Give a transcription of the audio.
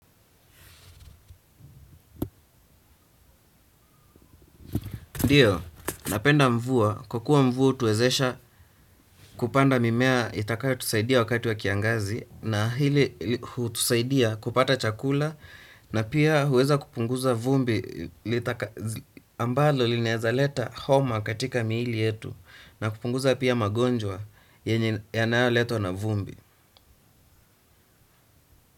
Ndiyo, napenda mvua. Kwa kuwa mvua utuwezesha kupanda mimea itakayotusaidia wakati wa kiangazi na hili tusaidia kupata chakula na pia huweza kupunguza vumbi ambalo linaeza leta homa katika miili yetu na kupunguza pia magonjwa yanayoletwa na vumbi.